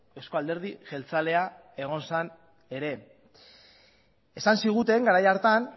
euzko alderdi jeltzalea egon zen ere esan ziguten garai hartan